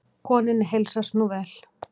Konunni heilsast nú vel.